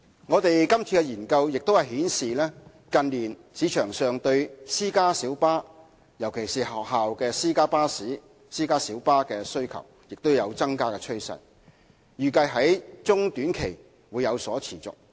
我們今次的研究亦顯示，近年市場對私家小巴，尤其是學校私家小巴的需求亦有增加趨勢，預計在中、短期會有所持續。